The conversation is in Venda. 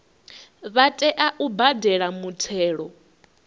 vha tea u badela muthelo